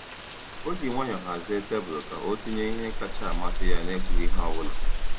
O ji nwayọọ hazie tebụl ka ọ tinye ihe kacha amasị ya n’ekwughị ihe ọ bụla.